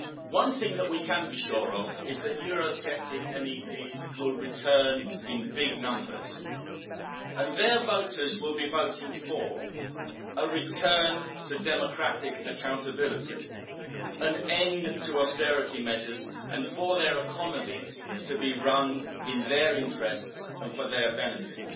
One thing that we can be sure of is that Eurosceptic MEPs will return in big numbers and their voters will be voting for a return to democratic accountability, an end to austerity measures and for their economies to be run in their interests and for their benefit.